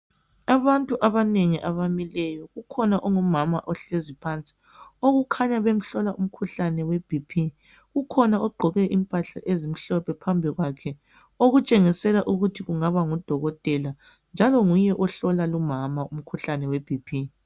Abanengi abamileyo kukhona ongumama ohlezi phansi okukhanya bemhlola umkhuhlane weBP kukhona ogqoke impahla ezimhlophe phambili kwakhe okutshengisela ukuthi kungaba ngudokotela njalo nguye ohlola lumama umkhuhlane weBP